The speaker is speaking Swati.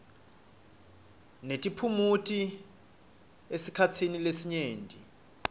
netiphumuti esikhatsini lesinyenti